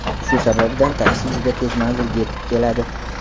Shu sababdan taksi juda tez manzilga yetib keladi.